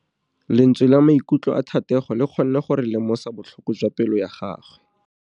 Lentswe la maikutlo a Thategô le kgonne gore re lemosa botlhoko jwa pelô ya gagwe.